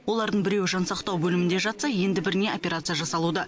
олардың біреуі жансақтау бөлімінде жатса енді біріне операция жасалуда